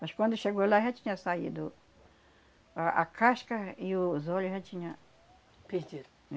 Mas quando chegou lá já tinha saído a a casca e os olho já tinha... Perdido?